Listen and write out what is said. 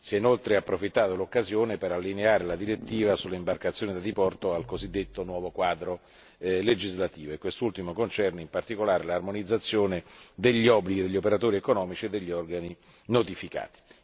Si è inoltre approfittato dell'occasione per allineare la direttiva sulle imbarcazioni da diporto al cosiddetto nuovo quadro legislativo e quest'ultimo concerne in particolare l'armonizzazione degli obblighi degli operatori economici e degli organi notificati.